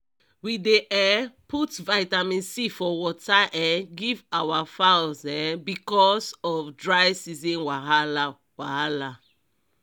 we dey um put vitamin c for water um give our fowls um because of dry season wahala wahala